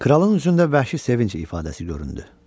Kralın üzündə vəhşi sevinc ifadəsi göründü.